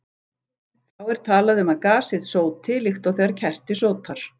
Þá er talað um að gasið sóti, líkt og þegar kerti sótar.